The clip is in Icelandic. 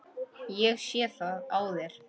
Ég sé það á þér.